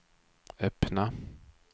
öppna